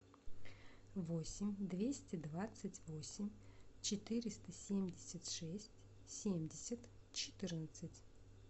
восемь двести двадцать восемь четыреста семьдесят шесть семьдесят четырнадцать